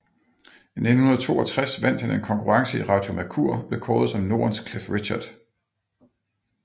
I 1962 vandt han en konkurrence i Radio Mercur og blev kåret som Nordens Cliff Richard